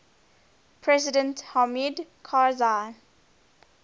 president hamid karzai